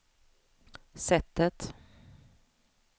sättet